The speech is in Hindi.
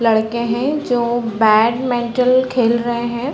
लड़के है जो बैडमेंटल खेल रहे है ।